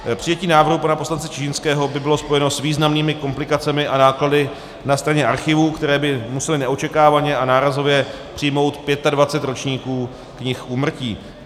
Přijetí návrhu pana poslance Čižinského by bylo spojeno s významnými komplikacemi a náklady na straně archivů, které by musely neočekávaně a nárazově přijmout 25 ročníků knih úmrtí.